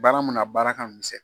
Baara min nɔ a baara ka misɛn